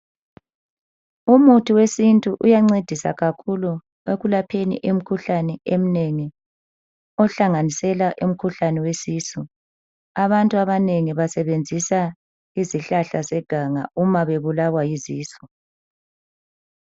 Umuthi wesintu uyancedisa kakhulu ekulapheni imkhuhlane eminengi, ohlanganisela imkhuhlane wesisu. Abantu abanengi basebenzisa izihlahla zeganga uma bebulawa yizisu.